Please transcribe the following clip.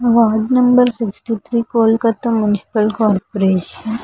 Ward number sixty three Kolkata municipal corporation .